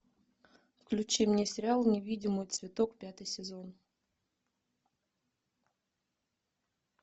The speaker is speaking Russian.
включи мне сериал невидимый цветок пятый сезон